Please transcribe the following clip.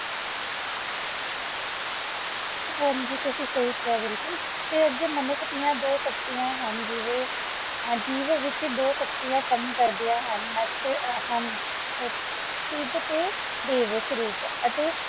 ਹਾਂ ਜੀ ਤੁਸੀਂ ਸਹੀ ਕਿਹਾ ਬਿਲਕੁਲ ਤੇ ਮਨੁੱਖ ਦੀਆਂ ਦੋ ਪੱਤੀਆਂ ਹਨ ਜਿਵੇਂ ਅਜੀਬ ਵਿੱਚ ਦੋ ਪੱਤੀਆਂ ਕੰਮ ਕਰਦੀਆਂ ਹਨ ਨੱਤ ਹਨ ਤਿਵ ਤੇ ਦੇਵ ਸਰੂਪ ਅਤੇ